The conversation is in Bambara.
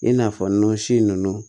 I n'a fɔ nɔnsi ninnu